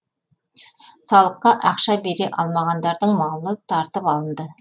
салыққа ақша бере алмағандардың малы тартып алынды